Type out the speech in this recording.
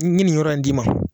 N ye nin yɔrɔ in d'i ma